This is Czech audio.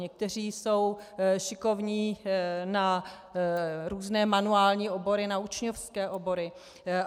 Někteří jsou šikovní na různé manuální obory, na učňovské obory.